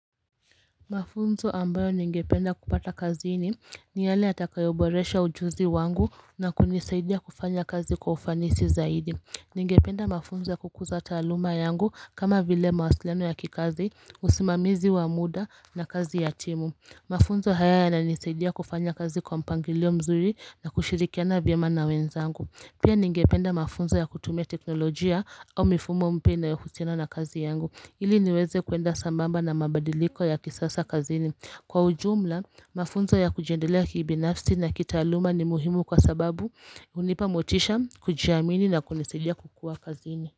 Mafunzo ambayo ningependa kupata kazini ni yale yatakayoboresha ujuzi wangu na kunisaidia kufanya kazi kwa ufanisi zaidi. Ningependa mafunzo ya kukuza taaluma yangu kama vile mawasiliano ya kikazi, usimamizi wa muda na kazi ya timu. Mafunzo haya yananisaidia kufanya kazi kwa mpangilio mzuri na kushirikiana vyema na wenzangu. Pia ningependa mafunzo ya kutumia teknolojia au mifumo mpya inayohusiana na kazi yangu. Ili niweze kuenda sambamba na mabadiliko ya kisasa kazini. Pia ningependa mafunzo ya kutumia teknolojia au mifumo mpya inayohusiana na kazi yangu.